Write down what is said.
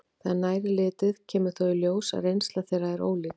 Þegar nær er litið kemur þó í ljós að reynsla þeirra er ólík.